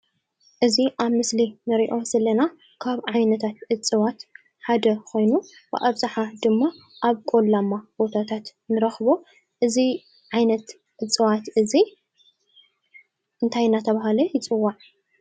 እዚ ኣብ ምስሊ እንረኦ ዘለና ካብ ዓይነት እፅዋት ሓደ ኮይኑ ብኣብዛሓ ድማ ኣብ ቆላማ ቦታት ንረክቦ። እዚ ዓይነት እፅዋት እዚ እንታይ እንዳተባሃለ ይፅዋዕ ?